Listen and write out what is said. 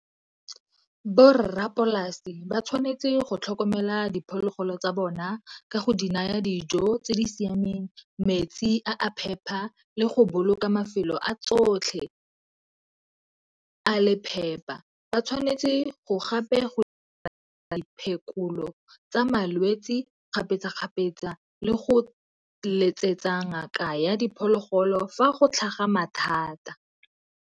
Bo rra polasi ba tshwanetse go tlhokomela diphologolo tsa bona ka go di naya dijo tse di siameng, metsi a a phepa, le go boloka mafelo a tsotlhe a le phepa. Ba tshwanetse go gape phekolo tsa malwetsi kgapetsa-kgapetsa le go letsetsa ngaka ya diphologolo fa go tlhaga mathata.